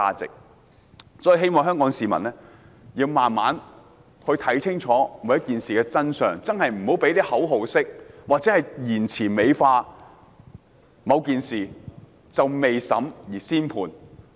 所以，我希望香港市民慢慢看清楚事情的真相，不要用口號式言詞美化某件事，未審先判。